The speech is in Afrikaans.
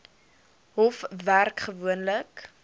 hof werk gewoonlik